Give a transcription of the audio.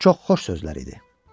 Çox xoş sözlər idi.